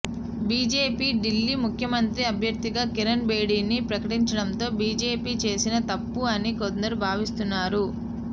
BJP Delhi ముఖ్యమంత్రి అభ్యర్ధిగా కిరణ్ బేడిని ప్రకటించడంతో బీజేపి చేసిన తప్పు అని కొందరు భావిస్తున్నారు